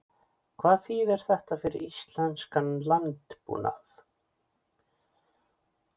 Hvað þýðir þetta fyrir íslenskan landbúnað?